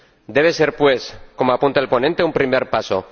Debe ser, pues ―como apunta el ponente―, un primer paso.